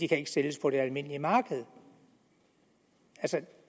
kan sælges på det almindelige marked altså